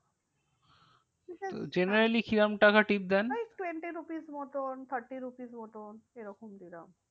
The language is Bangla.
generally কিরম টাকা tip দেন? ওই twenty rupees মতন thirty rupees মতন এরকম